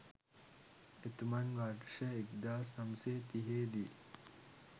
එතුමන් වර්ෂ 1930 දී